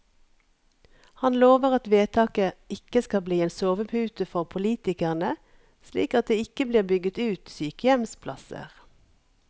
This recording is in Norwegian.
Han lover at vedtaket ikke skal bli en sovepute for politikerne, slik at det ikke blir bygget ut sykehjemsplasser.